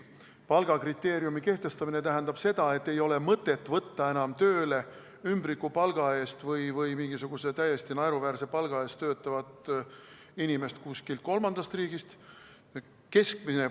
Palgakriteeriumi kehtestamine tähendab seda, et ei ole mõtet võtta enam tööle ümbrikupalga või mingisuguse täiesti naeruväärse palga eest töötavat inimest kuskilt kolmandast riigist.